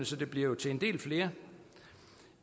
så det bliver til en del flere